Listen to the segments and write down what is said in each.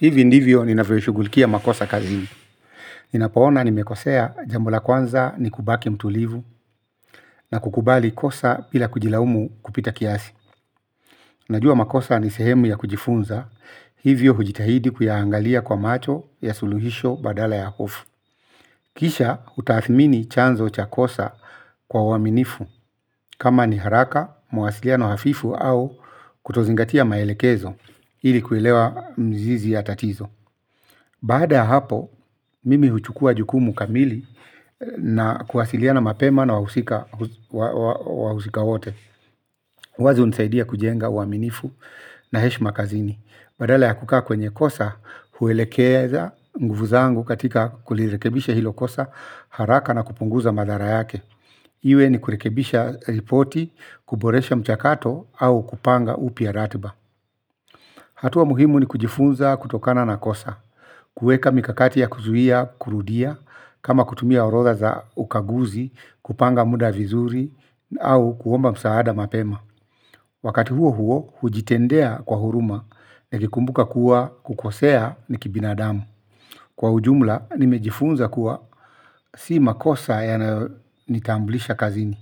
Hivi ndivyo ninavyo shughulikia makosa kazini. Ninapo ona nimekosea, jambo la kwanza ni kubaki mtulivu na kukubali kosa bila kujilaumu kupita kiasi. Najua makosa ni sehemu ya kujifunza. Hivyo hujitahidi kuyaangalia kwa macho ya suluhisho badala ya hofu. Kisha hutaathmini chanzo cha kosa kwa uaminifu. Kama ni haraka, mawasiliano hafifu au kutozingatia maelekezo ili kuelewa mizizi ya tatizo. Baada ya hapo, mimi huchukua jukumu kamili na kuwasiliana mapema na wahusika wote. Wazi hunisaidia kujenga uaminifu na heshima kazini. Badala ya kukaa kwenye kosa, huelekeza nguvu zangu katika kulirekebisha hilo kosa haraka na kupunguza madhara yake. Iwe ni kurekebisha ripoti, kuboresha mchakato au kupanga upya ratiba. Hatua muhimu ni kujifunza kutokana na kosa. Kueka mikakati ya kuzuia kurudia, kama kutumia orodha za ukaguzi, kupanga muda vizuri, au kuomba msaada mapema. Wakati huohuo hujitendea kwa huruma nikikumbuka kuwa kukosea ni kibinadamu. Kwa ujumla, nimejifunza kuwa si makosa yanayo nitambulisha kazini,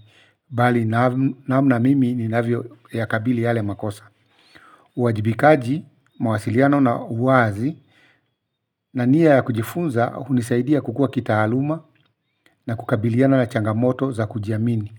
bali namna mimi ninavyo yakabili yale makosa. Uwajibikaji, mawasiliano na uwazi na nia ya kujifunza hunisaidia kukua kitaaluma na kukabiliana na changamoto za kujiamini.